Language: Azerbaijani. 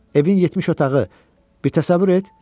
Evin 70 otağı, bir təsəvvür et.